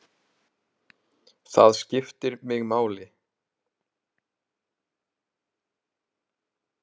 Það skiptir mig máli.